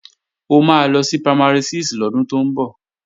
Ó máa lọ sí Primary 6 lọ́dún tó ń bọ̀